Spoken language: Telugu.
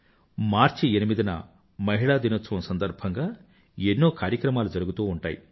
మార్చి ఎనిమిదిన మహిళా దినోత్సవం సందర్భంగా ఎన్నో కార్యక్రమాలు జరుగుతూ ఉంటాయి